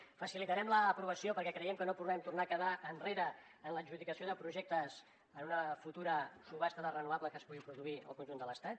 en facilitarem l’aprovació perquè creiem que no podem tornar a quedar enrere en l’adjudicació de projectes en una futura subhasta de renovables que es pugui produir al conjunt de l’estat